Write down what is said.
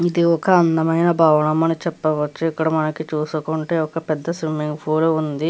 ఇది ఒక అందమైన భవనం అని మనం చెప్పవచు ఇక్కడ మనకి చూసుకుంటే ఒక పెద్ద స్విమ్మింగ్ పూల్ ఉంది .